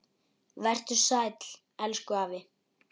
Vertu sæll, elsku afi.